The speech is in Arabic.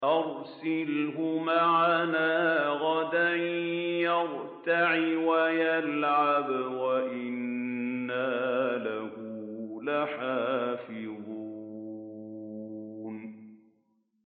أَرْسِلْهُ مَعَنَا غَدًا يَرْتَعْ وَيَلْعَبْ وَإِنَّا لَهُ لَحَافِظُونَ